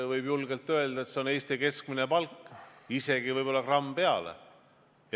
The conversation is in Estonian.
Võib julgelt öelda, et see on Eesti keskmine palk, isegi võib-olla gramm peale.